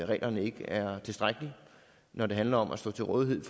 reglerne ikke er tilstrækkelige når det handler om at stå til rådighed